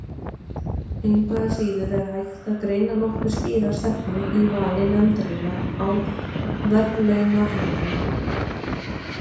Engu að síður er hægt að greina nokkuð skýra stefnu í vali nefndarinnar á verðlaunahöfum.